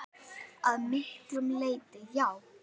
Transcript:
Að miklu leyti já.